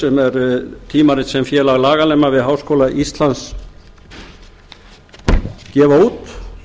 sem er tímarit sem félag laganema við háskóla íslands gefa út